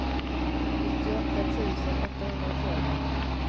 nittioåtta tusen åttahundratolv